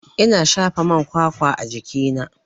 Ina shafa man kwakwa a jikina.